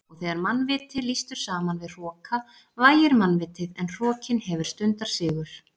Og þegar mannviti lýstur saman við hroka vægir mannvitið en hrokinn hefur stundarsigur.